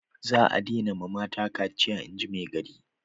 Za a dena ma mata kaciya inji maigari